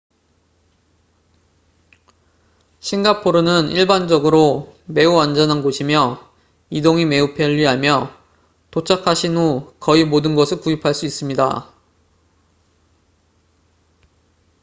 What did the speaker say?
싱가포르는 일반적으로 매우 안전한 곳이며 이동이 매우 편리하며 도착하신 후 거의 모든 것을 구입할 수 있습니다